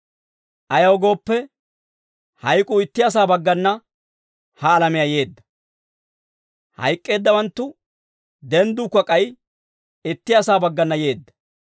Ayaw gooppe, hayk'uu itti asaa baggana ha alamiyaa yeedda, hayk'k'eeddawanttu dendduukka k'ay itti asaa baggana yeedda.